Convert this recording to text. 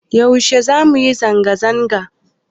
Yaushe zamu yi zanga zanga?